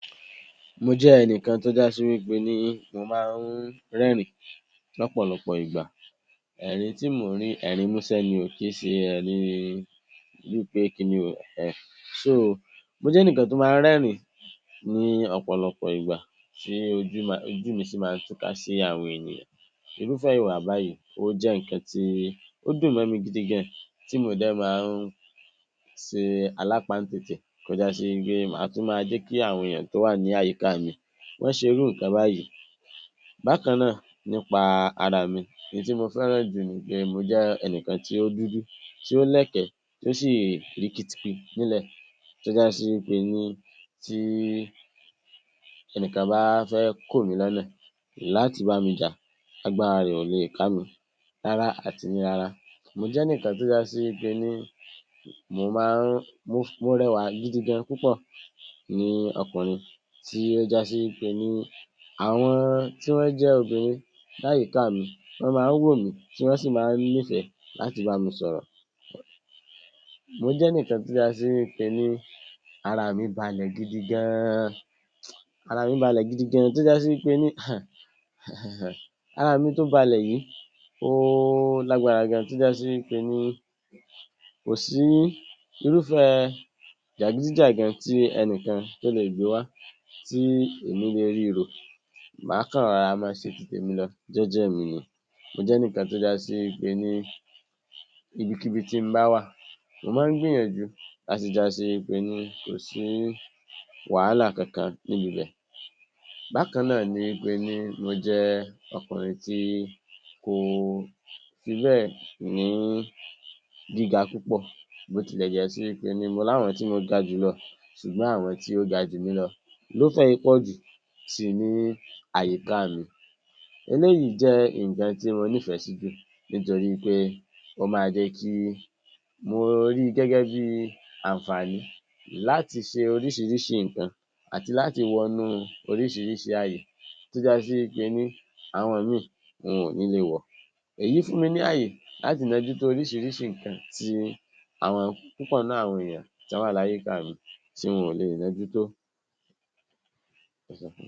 Mo jẹ́ ènìyàn tó já sí pé ní mo máa ń rẹ́rìn l’ọ̀pọ̀lọpọ̀ ìgbà. Ẹ̀rín tí mo rí ẹ̀rín mú sẹ̀ ni, ó kì í ṣe ẹ̀rín bí ènìyàn pé kí ni ó jẹ́ n’ẹn. So, mo jẹ́ nikan tí mo ń rẹ́rìn ní ọ̀pọ̀lọpọ̀ ìgbà, tí ojú mi sì máa ń tú ká sí àwọn ènìyàn. Irúfẹ́ ìwòyí o jẹ́ nkan tí ó dùnmọ́ mi gidigidi, tí mo dé máa ń sì alapáńtẹ́tẹ́ kọjá sí igi, a tún máa jẹ́ kí àwọn ènìyàn tó wà ní àyíká mi wón ń ṣe irú nkan báyìí. Bàkan náà nípa ara mi. Ní ti mo fẹ́ rànjú ní igi, mo jẹ́ ènìyàn tí ó dúdú, tí ó lẹ́kẹ̀, tí ó sì rí kìtìpì nílẹ̀, tó jẹ́ pé ní ti ènìyàn bá fẹ́ kọ̀ǹmí lónà láti bá mi ja, a gba arì ọ̀lẹ̀ e ká mi, lara àti ní lara. Mo jẹ́ nikan tó já sí pé ní mo máa ń mọ̀rẹ̀wà gidigidi púpọ̀ ní ọkùnrin, tó jẹ́ pé ní àwọn tí wọ́n jẹ́ obìnrin láyíká mi, wọ́n máa ń wò mí, tí wọ́n sì máa ń nífẹ̀ láti bá mi sọ̀rọ̀. Mo jẹ́ nikan tó já sí pé ní ara mi balẹ̀ gidigidi. Ara mi tó balẹ̀ yìí ó lágbára gan, tó jẹ́ pé ní kò sí irúfẹ́ jagidijagan tí ènìyàn tó lè gbé wá tí èmi lè rí irọ́, máa ká ara, má ṣe tìtẹ̀mí lọ jẹ̀jẹ̀ mi ní. Mo jẹ́ nikan tó ja sí pé ní ibikíbi tí ń bá wà, mo máa ń gbìyànjú tà á sì jí àṣí pé ní kò sí wahala kankan níbẹ̀ bẹ́ẹ̀. Bákan náà ni gbé, ní mo jẹ́ ọkùnrin tí kò fi ibẹ̀ ní gíga púpọ̀, bó tilẹ̀ jẹ́ wípé ní mo láwọn tí mo ga jù lọ, ṣùgbọ́n àwọn tí ó ga jù mí lọ ló fẹ́ ipòjí tí ń bẹ yíká mi. Èyí jẹ́ nkan tí mo nífẹ̀ sí, nítorí pé ó máa jẹ́ kí n rí gẹ́gẹ́ bí ànfààní láti ṣe oríṣìíríṣìí nkan àti láti wọ̀n nú oríṣìíríṣìí àyè, tó yàtò sí pé ní àwọn omi ò ní lè wọ. Ẹ̀yin fún mi ní àyè láti iná jù sí oríṣìíríṣìí nkan tí àwọn púpọ̀ nà, àwọn ènìyàn tí àwọn àlàyé káàmì tí wọn ò lè mojú tó.